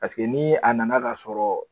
Paseke ni a nana k'a sɔrɔ